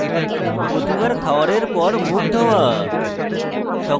প্রতিবার খাওয়ারের পর মুখ ধোয়া